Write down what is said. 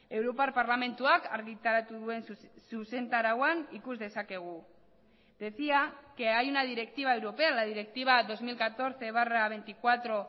europar parlamentuak argitaratu duen zuzentarauan ikus dezakegu decía que hay una directiva europea la directiva dos mil catorce barra veinticuatro